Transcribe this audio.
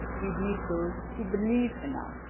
We need those who believe